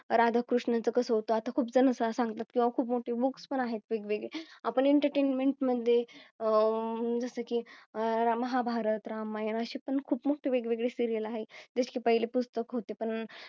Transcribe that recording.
राधा कृष्णा चं कसं होतं आता खूप जण सांगतात किंवा खूप मोठी Books पण आहेत. वेगवेगळे आपण Entertainment madhe अं जसं की अह महाभारत, रामायणा शी पण खूप मोठी वेगवेगळी Serial आहे जसे पहिले पुस्तक होते पण